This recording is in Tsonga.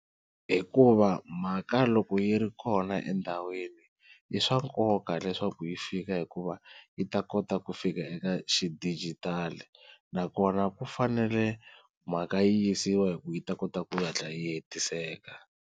Hikuva mhaka loko yi ri kona endhawini i swa nkoka leswaku yi fika hikuva yi ta kota ku fika eka xidijitali, nakona ku fanele mhaka yisiwa hi ku yi ta kota ku yi hatla yi hetiseka.